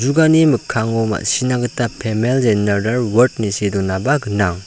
mikkango ma·sina gita pemel jeneral wart ine see donaba gnang.